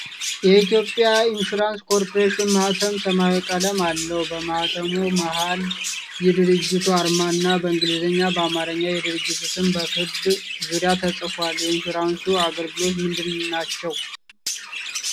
የኢትዮጵያ ኢንሹራንስ ኮርፖሬሽን ማኅተም ሰማያዊ ቀለም አለው ። በማኅተሙ መሀል የድርጅቱ አርማ እና በእንግሊዝኛና በአማርኛ የድርጅቱ ስም በክብ ዙሪያው ተጽፏል። የኢንሹራንስ አገልግሎቶች ምንድን ናቸው?